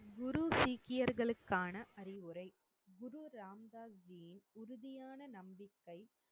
குரு சீக்கியர்களுக்கான அறிவுரை குருராமதாஸ்ஜிஇன் உறுதியான நம்பிக்கை